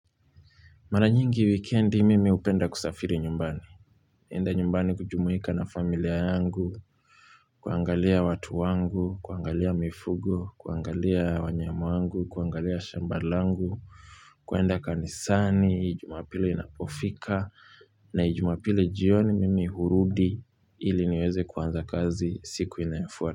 Mara nyingi wikendi, mimi hupenda kusafiri nyumbani. Enda nyumbani kujumuika na familia yangu, kuangalia watu wangu, kuangalia mifugo, kuangalia wanyama wangu, kuangalia shamba langu, kuenda kanisani, jumapili inapofika, na jumapili jioni mimi hurudi ili niweze kuanza kazi siku inayofuata.